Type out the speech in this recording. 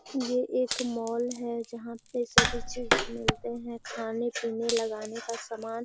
ये एक मॉल है जहाँ पे सभी चीज मिलते हैं। खाने-पिने लगाने का समान --